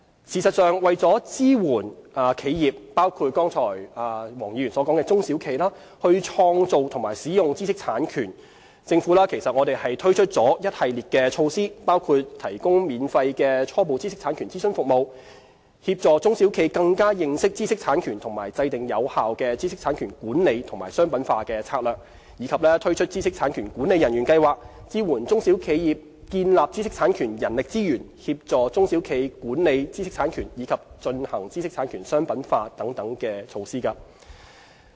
事實上，為了支援企業，包括剛才黃議員所說的中小企，創造和使用知識產權，政府推出了一系列措施，包括提供免費初步知識產權諮詢服務，協助中小企更加認識知識產權和制訂有效的知識產權管理與商品化策略，以及推出知識產權管理人員計劃，支援中小企業建立知識產權人力資源、協助中小企管理知識產權，以及進行知識產權商品化等措施。